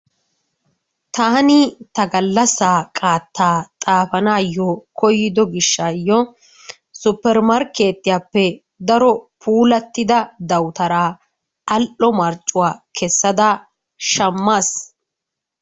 Taani ta gallassaa qaattaa xaafanaayyo koyido gishshaayyo suppermarkkeetiyappe daro puulattida dawutaraa al"o marccuwa kessada shammaas